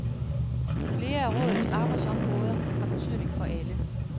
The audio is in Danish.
Flere af rådets arbejdsområder har betydning for alle.